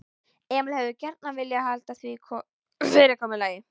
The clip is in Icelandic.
Emil hefði gjarnan viljað halda því fyrirkomulagi.